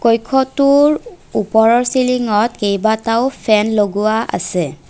কক্ষটোৰ ওপৰৰ চিলিংত কেইবাটাও ফেন লগোৱা আছে।